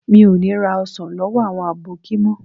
Mi ò ní ra ọsàn lọ́wọ́ àwọn àbókí mọ́